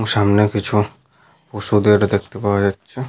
এবং সামনে কিছু ওষুধের দেখতে পাওয়া যাচ্ছে।